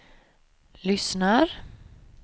lyssnar